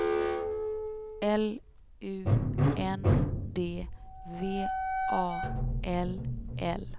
L U N D V A L L